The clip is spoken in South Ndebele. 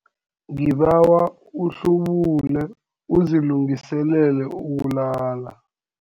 Ngibawa uhlubule uzilungiselele ukulala.